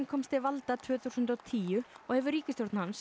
komst til valda tvö þúsund og tíu og hefur ríkisstjórn hans